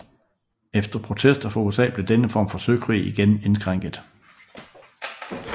Efter protester fra USA blev denne form for søkrig igen indskrænket